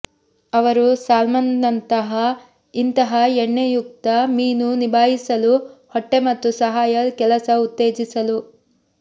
ಅವರು ಸಾಲ್ಮನ್ನಂಥ ಇಂತಹ ಎಣ್ಣೆಯುಕ್ತ ಮೀನು ನಿಭಾಯಿಸಲು ಹೊಟ್ಟೆ ಮತ್ತು ಸಹಾಯ ಕೆಲಸ ಉತ್ತೇಜಿಸಲು